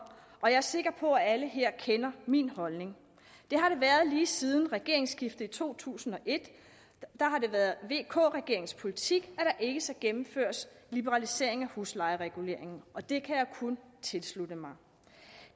og jeg er sikker på at alle her kender min holdning lige siden regeringsskiftet i to tusind og et har det været vk regeringens politik at der ikke skal gennemføres liberalisering af huslejereguleringen og det kan jeg kun tilslutte mig